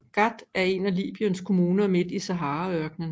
Ghat er en af Libyens kommuner midt i Saharaørknen